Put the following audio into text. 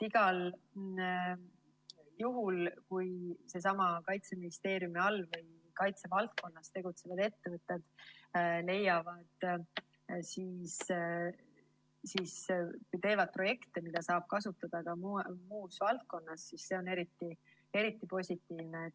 Igal juhul, kui Kaitseministeeriumi all või kaitsevaldkonnas tegutsevad ettevõtted teevad projekte, mida saab kasutada ka muus valdkonnas, siis see on eriti positiivne.